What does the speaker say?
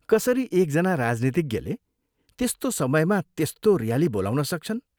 कसरी एकजना राजनीतिज्ञले त्यस्तो समयमा त्यस्तो ऱ्याली बोलाउन सक्छन्?